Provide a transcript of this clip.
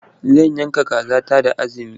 Za yanka kaza ta da azumi.